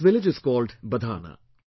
This village is called 'Badhana'